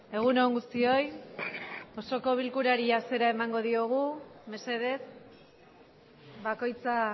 egun on guztioi osoko bilkurari hasiera emango diogu mesedez bakoitza